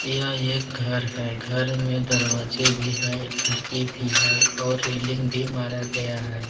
यह एक घर है घर में दरवाजे भी है एक खिड़की भी है और रेलिंग भी मारा गया है।